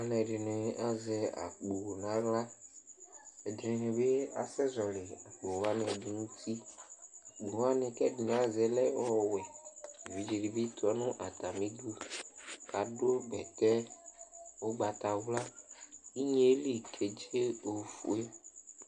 aloɛdini azɛ akpo n'ala ɛdini bi asɛ zɔli akpo wani ɛdi n'uti akpo wani k'ɛdi ni azɛ lɛ ɔwɛ evidze di bi tɔ no atami du k'ado bɛtɛ ugbata wla inye li kedze ofue